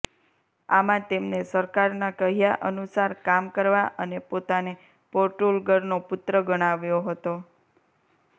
આમાં તેમને સરકારના કહ્યાં અનુસાર કામ કરવા અને પોતાને પોટૂર્ગલનો પુત્ર ગણાવ્યો હતો